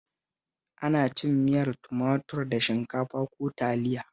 Ana cin miyar tumatur da shinkafa ko Taliya